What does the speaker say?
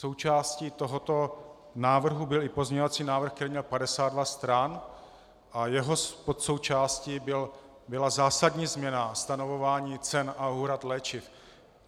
Součástí tohoto návrhu byl i pozměňovací návrh, který měl 52 stran, a jeho podsoučástí byla zásadní změna stanovování cen a úhrad léčiv.